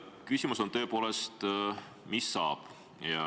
Küsimus on tõepoolest, et mis saab.